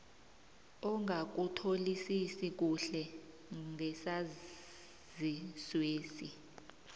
ongakutholisisi kuhle ngesaziswesi